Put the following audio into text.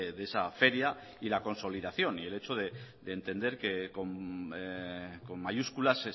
de esa feria y la consolidación y el hecho de entender que con mayúscula